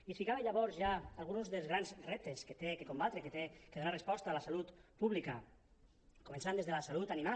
i ficava llavors ja alguns dels grans reptes que ha de combatre a què ha de donar resposta la salut pública començant des de la salut animal